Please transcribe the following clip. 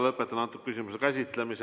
Lõpetan selle küsimuse käsitlemise.